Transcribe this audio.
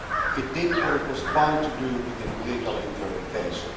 It did what it was bound to do within the legal interpretation.